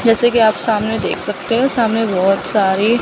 जैसे कि आप सामने देख सकते हो सामने बहुत सारी--